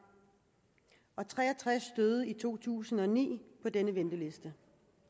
tre og tres døde i to tusind og ni på denne venteliste